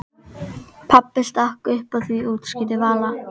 Pabbi stakk upp á því útskýrði Vala.